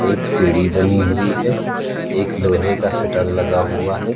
एक सीढ़ी बनी हुई है एक लोहे का शटर लगा हुआ है।